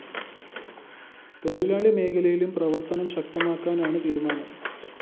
തൊഴിലാളി മേഖലയിലും പ്രവര്‍ത്തനം ശക്തമാക്കാനാണ് തീരുമാനം